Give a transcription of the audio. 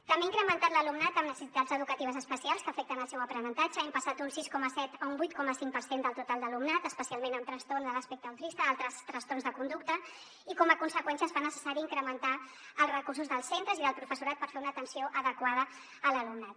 també ha incrementat l’alumnat amb necessitats educatives especials que afecten el seu aprenentatge hem passat d’un sis coma set a un vuit coma cinc per cent del total d’alumnat especialment amb trastorns de l’espectre autista i altres trastorns de conducta i com a conseqüència es fa necessari incrementar els recursos dels centres i del professorat per fer una atenció adequada a l’alumnat